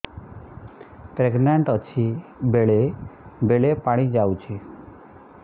pregnant ଅଛି ବେଳେ ବେଳେ ପାଣି ଯାଉଛି